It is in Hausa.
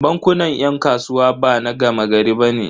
Bankunan 'yan kasuwa bana gama gari bane.